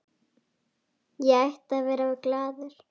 Ég ætti að vera glaður.